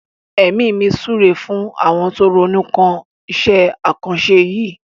Èmi mi súre fún àwọn tó ronú kan iṣẹ́ àkànṣe yìí.